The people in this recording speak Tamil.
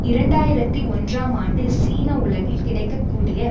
இரண்டாயிரத்தி ஒன்றாம் ஆண்டு சீன உலகில் கிடைக்க கூடிய